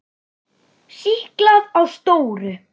Stiklað á stóru